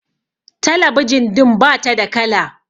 talabijin din ba ta da kala